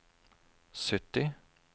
sytti